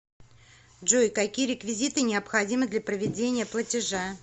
джой какие реквизиты необходимы для проведения платежа